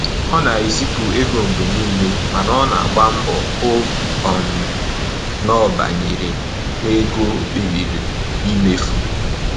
Ọ na-ezipụ ego mgbe niile mana ọ na agba mgbọ hụ um na ọ banyere na ego o kpebiri imefu